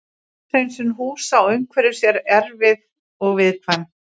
Sótthreinsun húsa og umhverfis er erfið og viðkvæm.